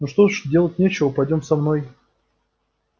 ну что ж делать нечего пойдём со мной